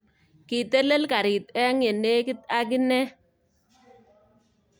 Kitelel garit eng yenegit ak ine